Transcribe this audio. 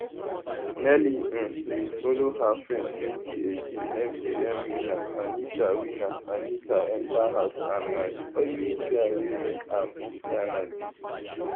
nelly um bin follow her friend 2018 mgn winner anita winner anita enta house and na di only pair wey make am to final day